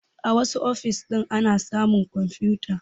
A wassu ofis ɗin ana samun kwamfuta